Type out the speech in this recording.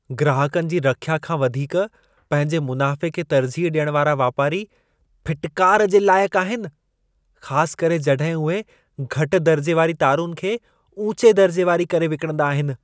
ग्राहकनि जी रख्या खां वधीक पंहिंजे मुनाफ़े खे तर्जीह ॾियण वारा वापारी, फिटकार जे लाइक़ आहिनि। ख़ासि करे जॾहिं उहे घटि दर्जे वारी तारुनि खे ऊचे दर्जे वारी करे विकिणंदा आहिनि।